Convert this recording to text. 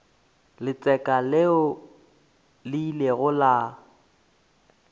letseka leo le ilego la